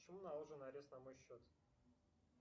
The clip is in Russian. почему наложен арест на мой счет